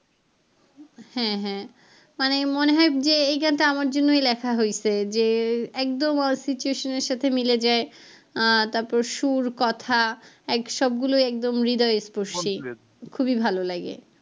হ্যাঁ হ্যাঁ মানে মনে হয় যে এই গানটা আমার জন্যই লেখা হইসে যে একদম situation এর সাথে মিলে যায় আহ তারপরে সুর কথা এক সবগুলোই একদম হৃদয় স্পর্সি খুবই ভালো লাগে।